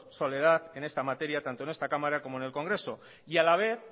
soledad en esta materia tanto en esta cámara como en el congreso y a la vez